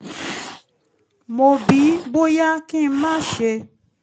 mo bi í bóyá kí n má ṣe